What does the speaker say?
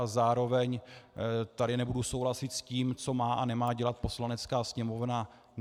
A zároveň tady nebudu souhlasit s tím, co má a nemá dělat Poslanecká sněmovna.